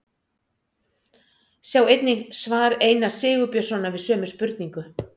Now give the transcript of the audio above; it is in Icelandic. Sjá einnig svar Einars Sigurbjörnssonar við sömu spurningu.